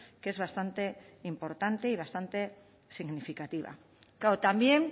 que es bastante importante y bastante significativa claro también